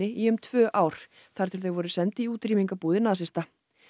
í um tvö ár þar til þau voru send í útrýmingarbúðir nasista